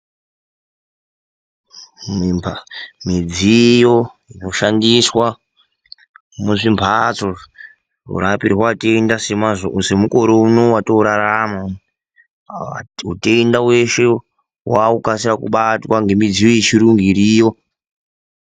Midziyo inoshandiswa muzvimhatso zvinorapirwa atenda semukore uno watinorarama utenda hweshe hwakukasira kubatwa ngemidziyo yechirungu iriyo.